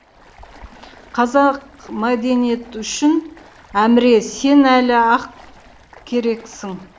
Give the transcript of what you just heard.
қазақ мәдениет үшін әміре сен әлі ақ керексің